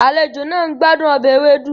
Àlejò náà ń gbádùn ọbẹ̀ ewedu